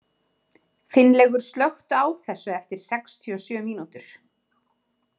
Finnlaugur, slökktu á þessu eftir sextíu og sjö mínútur.